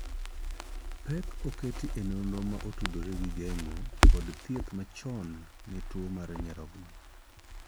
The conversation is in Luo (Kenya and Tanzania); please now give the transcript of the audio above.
Pek oketi e nonro ma otudore gi geng'o kod thieth machon ne tuo mar nyarogno.